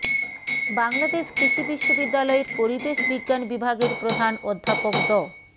বাংলাদেশ কৃষি বিশ্ববিদ্যালয়ের পরিবেশ বিজ্ঞান বিভাগের প্রধান অধ্যাপক ড